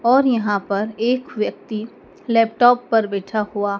और यहां पर एक व्यक्ति लैपटॉप पर बैठा हुआ--